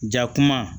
Ja kuma